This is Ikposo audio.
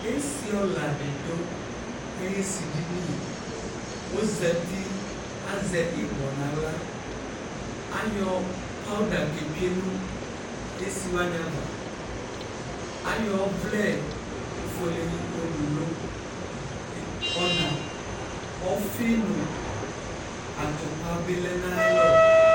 esɩɔlaɗɩ ɔɗʊ aƴʊ esɩɗɩnɩ ɔzatɩ azɛ ɩɓɔ nʊ ahla aƴɔ pawʊɗa ƙʊ ɔƙetsʊe nʊ esɩwanɩ aƴaʋa aƴɔ ɔʋlɛ ofʊele ƴɔwʊnʊ ɔna ɔfɩ nʊ atʊpaɓɩ ɔlɛnʊ aƴalɔ